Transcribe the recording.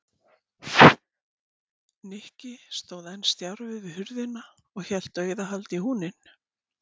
Nikki stóð enn stjarfur við hurðina og hélt dauðahaldi í húninn.